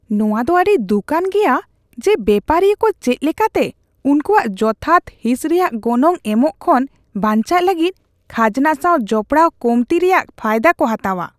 ᱱᱚᱣᱟ ᱫᱚ ᱟᱹᱰᱤ ᱫᱩᱠᱟᱱ ᱜᱮᱭᱟ ᱡᱮ ᱵᱮᱯᱟᱨᱤᱭᱟᱹ ᱠᱚ ᱪᱮᱫ ᱞᱮᱠᱟᱛᱮ ᱩᱱᱠᱩᱭᱟᱜ ᱡᱚᱛᱷᱟᱛ ᱦᱤᱸᱥ ᱨᱮᱭᱟᱜ ᱜᱚᱱᱚᱝ ᱮᱢᱚᱜ ᱠᱷᱚᱱ ᱵᱟᱧᱪᱟᱜ ᱞᱟᱹᱜᱤᱫ ᱠᱷᱟᱡᱱᱟ ᱥᱟᱣ ᱡᱚᱯᱲᱟᱣ ᱠᱚᱢᱛᱤ ᱨᱮᱭᱟᱜ ᱯᱷᱟᱭᱫᱟ ᱠᱚ ᱦᱟᱛᱟᱣᱟ ᱾